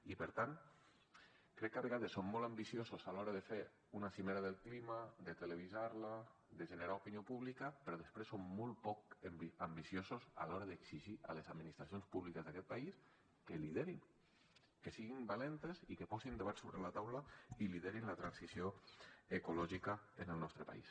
i per tant crec que a vegades som molt ambiciosos a l’hora de fer una cimera del clima de televisar la de generar opinió pública però després som molt poc ambiciosos a l’hora d’exigir a les administracions públiques d’aquest país que liderin que siguin valentes i que posin debats sobre la taula i liderin la transició ecològica en el nostre país